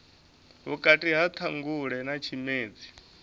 vhukati ha ṱhangule na tshimedzi